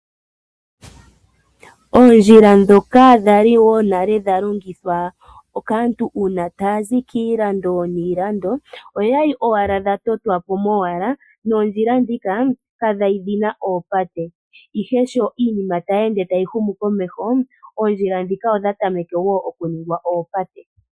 Oondjila dhoka dhali wo nale dha longithwa kaantu uuna taya zi kiilando niilando, oya li owala dha totwapo mowala noondjila dhila ka dha li dhina oopate. Ihe sho iinima tayi ende tayi humu komeho oondjila dhika odha tameke wo okuningwa oopate.